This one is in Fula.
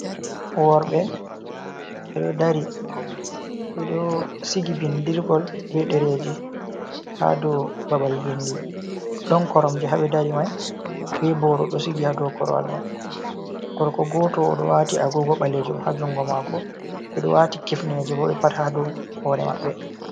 Worɓe, ɓe ɗo dari ɓe ɗo sigi binɗirgol bee ɗereeji haa dow babal vindi ɗon koromje haa ɓe dari mai bee booro ɗo sigi haa ɗo korwal mai gorko gooto o ɗo waati agoogo ɓaleejum haa junngo maako ɓe ɗo waati kifneeje bo ɓe pat haa do hoore maɓɓe